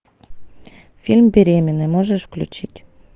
фильм беременный можешь включить